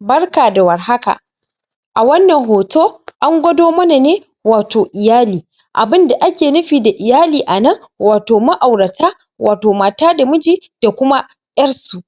barka da warhaka. a wannan hoto an gwado mana ne wato iyali. abunda ake nufi da iyali anan wato ma'aurata wato mata da miji da kuma ƴar su.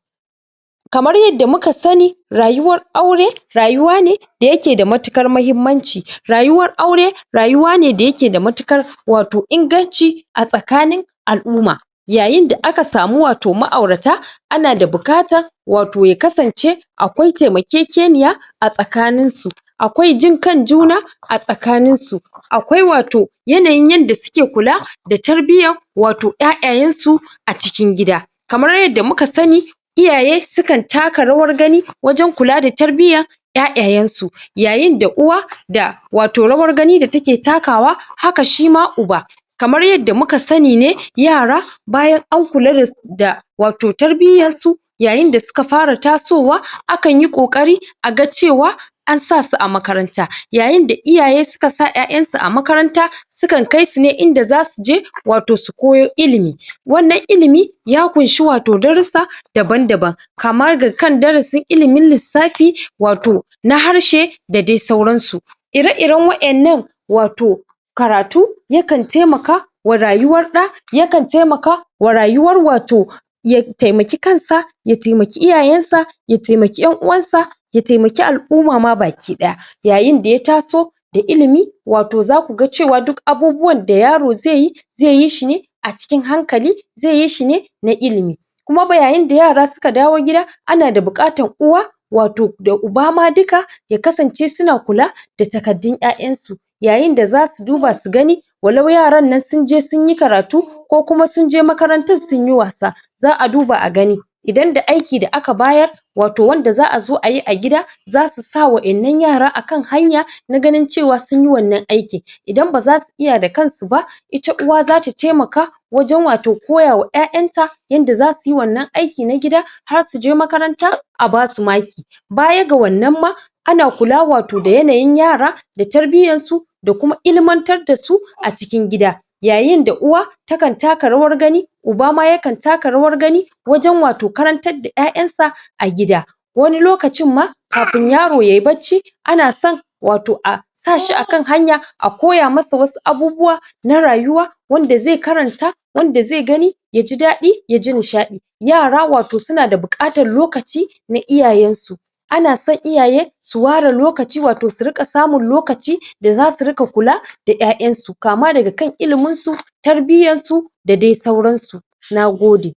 kamar yadda muka sani rayuwar aure rayuwa ne da yake da matuƙar mahimmanci rayuwar aure rayuwa ne da yake da matuƙar wato inganci a tsakanin al'umma. Yayin da aka samu wato ma'aurata ana da buƙatar wato ya kasance akwai taimakekeniya a tsakanin su. akwai jin ƙan juna a tsakanin su. akwai wato yanayin yanda suke kula da tarbiyyan wato ƴaƴayen su a cikin gida. Kamar yadda muka sani iyaye sukan taka rawar gani wajen kula da tarbiyya ƴaƴayen su. Yayin da uwa da wato rawar gani da take takawa haka shima uba kamar yadda muka sani ne yara bayan an kula da da wato tarbiyan su yayin da suka fara taso wa akanyi ƙoƙari a ga cewa an sasu a makaranta. Yayin da iyaye suka sa ƴaƴansu a makaranta sukan kaisu ne inda zasuje wato su koyo ilimi. Wannan ilimi, ya ƙunshi wato darissa daban-daban. Kama daga kan darasin ilimin lissafi wato na harshe da dai sauransu. ire-iren wa'innan wato karatu yakan taimaka wa rayuwar ɗa yakan taimaka wa rayuwar wato ya taimaki kansa ya taimaki iyayen sa ya taimaki ƴan uwansa ya taimaki al'uma ma baki ɗaya. yayin da ya taso da ilimi wato zakuga cewa duk abubuwan da yaro zaiyi zaiyi shi ne a cikin hankali zaiyi shi ne na ilimi. kuma yayin da yara suka dawo gida ana da buƙatan uwa wato da uba ma duka ya kasance suna kula da takaddun ƴaƴansu. yayin da zasu duba su gani walau yarannan sunje sunyi karatu ko kuma sunje makarantan sunyi wasa. za'a duba a gani idan da aiki da aka bayar wato wanda za'azo ayi a gida zasu sa wa'innan yara akan hanya na ganin cewa sunyi wannan aikin. idan bazasu iya da kansu ba ita uwa zata taimaka wajen wato koyawa ƴaƴanta yanda zasuyi wannan aiki na gida har suje makaranta a basu maki. Baya ga wannan ma ana kula wato da yanayin yara da tarbiyyan su da kuma ilmantar dasu a cikin gida yayin da uwa takan taka rawar gani uba ma yakan taka rawar gani wajen wato karantar da ƴaƴansa a gida. Wani lokacin ma kafin yaro yayi bacci ana son wato a sashi akan hanya a koya masa wasu abubuwa na rayuwa wanda zai karanta wanda zai gani yaji daɗi yaji nishaɗi yara wato suna da buƙatar lokaci na iyayen su. ana son iyaye su ware lokaci wato su riƙa samun lokaci da zasu riƙa kula da ƴaƴan su. kama daga kan iliminsu tarbiyyan su da dai sauran su. nagode.